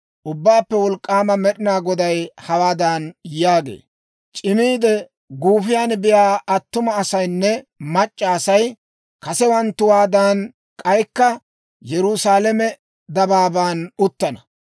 «Ubbaappe Wolk'k'aama Med'inaa Goday hawaadan yaagee; ‹C'imiide guufiyan biyaa attuma asaynne mac'c'a Asay kasewanttuwaadan k'aykka Yerusaalame dabaaban uttana.